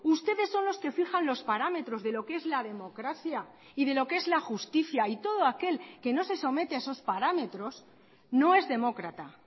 ustedes son los que fijan los parámetros de lo que es la democracia y de lo que es la justicia y todo aquel que no se somete a esos parámetros no es demócrata